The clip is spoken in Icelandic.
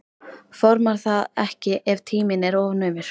Formar það ekki ef tíminn er of naumur.